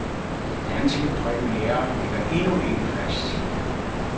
Den danske premiere ligger endnu ikke fast.